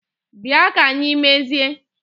Bịa ka anyị mezie!